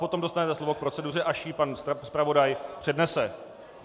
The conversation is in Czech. Potom dostanete slovo k proceduře, až ji pan zpravodaj přednese.